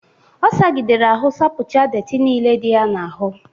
Ọ sagidere ahụ sapụcha dettị nile dị ya n'ahụ.